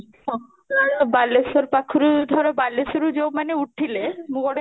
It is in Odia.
ହଁ ବାଲେଶ୍ୱର ପକ୍ଷରୁ ଧର ବାଲେଶ୍ୱର ରୁ ଯୋଉ ମାନେ ଉଠିଲେ ମୁଁ ଗୋଟେ